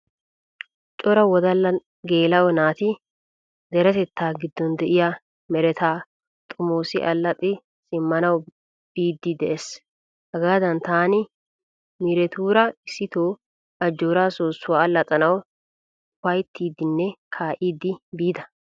Cora wodallanne geela'o naati deretettaa giddon de'iyaa meretaa xomoosi allaxxi simmanawu biiddi de'es. Hagaadan taani miiretuura issito ajjoora soossuwa allaxxanawu ufayttiiddinne kaa'iiddi biida.